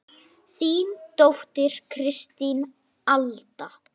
Þín dóttir, Kristín Alda.